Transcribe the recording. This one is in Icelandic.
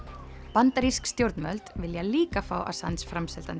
bandarísk stjórnvöld vilja líka fá Assange framseldan